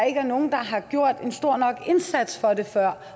ikke er nogen der har gjort en stor nok indsats for det før